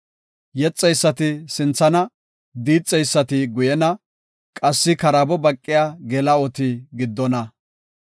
Yexeysati sinthana; diixeysati guyena; qassi karaabo baqiya geela7oti giddona.